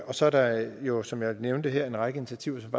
og så er der jo som jeg nævnte her en række initiativer som